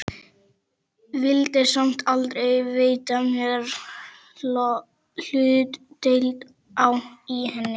Vildi samt aldrei veita mér hlutdeild í henni.